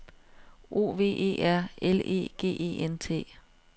O V E R L E G E N T